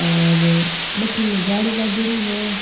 अर बठिन जाली लागेड़ी है।